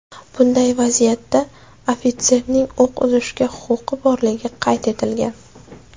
Bunday vaziyatda ofitserning o‘q uzishga huquqi borligi qayd etilgan.